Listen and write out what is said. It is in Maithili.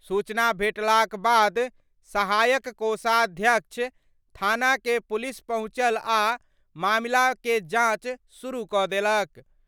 सूचना भेटलाक बाद सहायक कोषाध्यक्ष थाना के पुलिस पहुंचल आ मामला के जांच शुरू क' देलक।